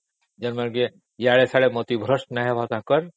ଦେଖ ଯେମିତି ଏଆଡ଼େ ସେଆଡେ଼ ମତିଭ୍ରଷ୍ଟ ନହୁଏ ସେମାନଙ୍କ